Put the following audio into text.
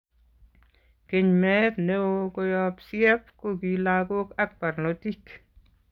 Keny meet neoo koyob CF kokii logok ak barnotik